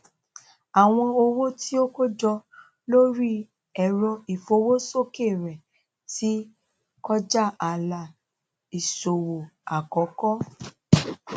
àwọn owó tí ó kó jọ lórí ẹrọ ìfowósókè rẹ ti kọjá ààlà ìsòwò àkọkọ